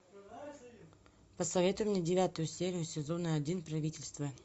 посоветуй мне девятую серию сезона один правительство